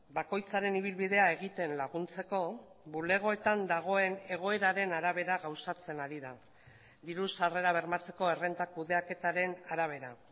bakoitzaren ibilbidea egiten laguntzeko bulegoetan dagoen egoeraren arabera gauzatzen ari da diru sarrera bermatzeko errenta kudeaketaren arabera